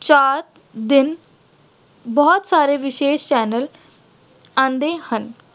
ਚਾਰ ਦਿਨ ਬਹੁਤ ਸਾਰੇ ਵਿਸ਼ੇਸ਼ channel ਆਉਂਦੇ ਹਨ।